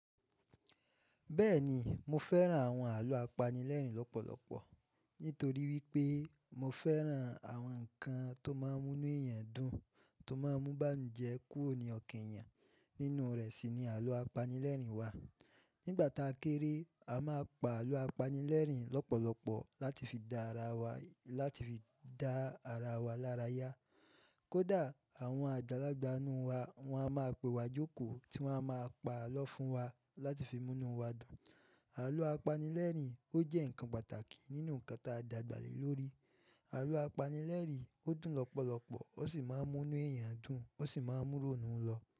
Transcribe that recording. Bẹ́ẹ̀ni mo fẹ́ràn àwọn àlọ́ apanilẹ́rìn lọ́pọ̀lọpọ̀ nítorí wípé mo fẹ́ràn àwọn ǹkan tó máa ń mú inú èèyàn dùn, tó máa ń mú báǹujẹ́ kú òní ọkan èèyàn nínú rẹ̀ sì ni àlọ́ apanilẹ́rìn wà. Nígbà ta kéré, a máa pa àlọ́ apanilẹ́rìn lọ́pọ̀lọpọ̀ láti fi dá ara wa, láti fi dá ara wa lára yá. Kódà àwọn àjálágbà inú wa, wa máa pe wa jókòó tí wa máa pa àlọ́ fún wa láti fi mú inú wa dùn. Àlọ́ apanilẹ́rìn ó jẹ́ ǹkan pàtàkì nínú ǹkan tí a dàgbà le lórí. Àlọ́ apanilẹ́rìn ó dùn lọ́pọ̀lọpọ̀ ó sì máa ń mú inú èèyàn dùn ó sì máa ń mú rọ̀ nù lọ.